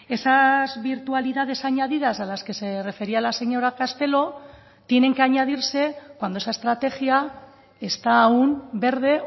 esas virtualidades añadidas a las que se refería la señora castelo tienen que añadirse cuando esa estrategia está aún verde